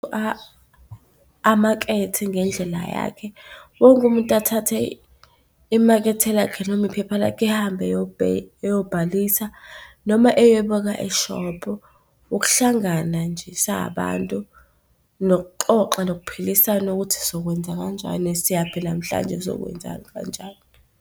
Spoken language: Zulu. Amakethe ngendlela yakhe, wonke umuntu athathe imakethe lakhe, noma iphepha lakhe ehambe eyobhalisa noma eye beka eshophu. Ukuhlangana nje sabantu nokuxoxa nokuphilisana ukuthi sokwenza kanjani, siyaphi namhlanje sizokwenzani kanjalo.